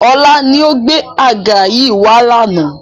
Ọlá ni ó gbé àga yìí wá lànà